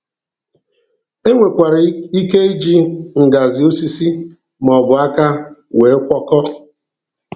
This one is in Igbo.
I nwekwara ike iji ngajị osisi maọbụ aka wee gwọkọọ.